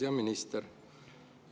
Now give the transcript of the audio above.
Hea minister!